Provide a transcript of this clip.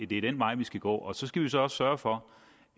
det er den vej vi skal gå og så skal vi nu så også sørge for